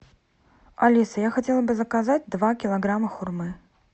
алиса я хотела бы заказать два килограмма хурмы